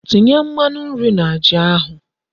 Tinye Mmanu nri na Ji ahu